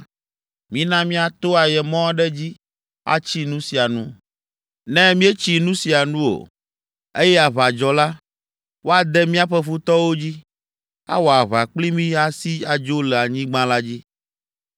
Mina míato ayemɔ aɖe dzi atsi nu sia nu. Ne míetsi nu sia nu o, eye aʋa dzɔ la, woade míaƒe futɔwo dzi, awɔ aʋa kpli mí asi adzo le anyigba la dzi.”